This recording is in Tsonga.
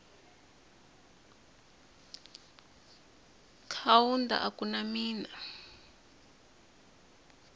kaunda a ku na mina